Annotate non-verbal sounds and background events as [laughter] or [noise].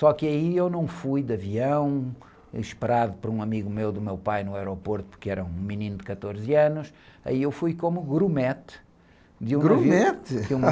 Só que aí eu não fui de avião, esperado por um amigo meu do meu pai no aeroporto, porque era um menino de quatorze anos, aí eu fui como grumete, de ...rumete? [laughs]